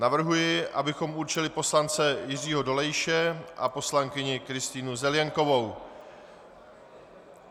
Navrhuji, abychom určili poslance Jiřího Dolejše a poslankyni Kristýnu Zelienkovou.